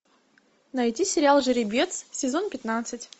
найти сериал жеребец сезон пятнадцать